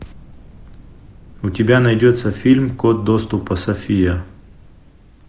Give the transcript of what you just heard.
у тебя найдется фильм код доступа софия